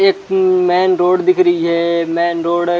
एक main road दिख रही है मैन रोड एक--